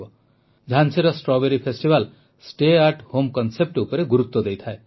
ଝାନ୍ସୀର strawberry festival stay at home concept ଉପରେ ଗୁରୁତ୍ୱ ଦେଇଥାଏ